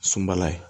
Sunbala ye